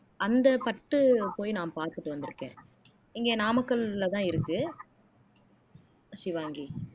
அந்த பட்டு போய் நான் பார்த்துட்டு வந்திருக்கேன் இங்கே நாமக்கல்லதான் இருக்கு ஷிவாங்கி